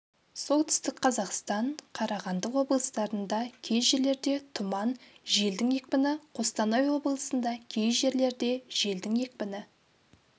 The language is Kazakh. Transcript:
солтүстік қазақстан қарағанды облыстарында кей жерлерде тұман желдің екпіні қостанай облысында кей жерлерде желдің екпіні